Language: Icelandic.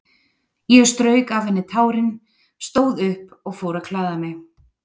Ég strauk af henni tárin, stóð upp og fór að klæða mig.